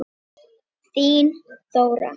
Þín, Þóra.